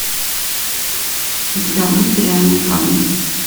у тебя будет реальные парни